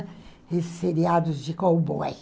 Esses seriados de cowboy.